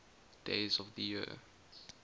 days of the year